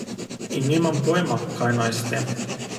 In nimam pojma, kaj naj s tem.